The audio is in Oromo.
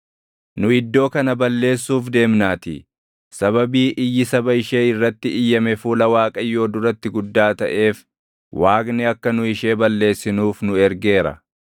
nu iddoo kana balleessuuf deemnaatii. Sababii iyyi saba ishee irratti iyyame fuula Waaqayyoo duratti guddaa taʼeef, Waaqni akka nu ishee balleessinuuf nu ergeera.”